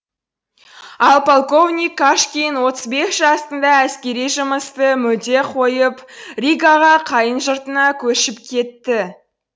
ал полковник кашкин отыз бес жасында әскери жұмысты мүлде қойып ригаға қайын жұртына көшіп кетті